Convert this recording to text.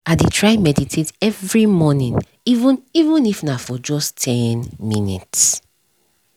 i dey try meditate every morning even even if na for just ten minutes